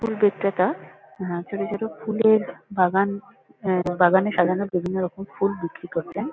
ফুল বিক্রেতা আহ ছোট ছোট ফুলের বাগান অ্যা বাগানে সাজানো বিভিন্নরকম ফুল বিক্রি করতেন।